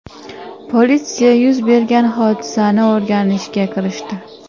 Politsiya yuz bergan hodisani o‘rganishga kirishdi.